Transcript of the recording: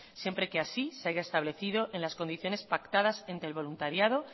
siempre que así se haya establecido en las condiciones pactadas entre el voluntariado